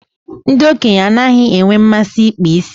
Ndị okenye anaghị enwe mmasị ịkpa isi.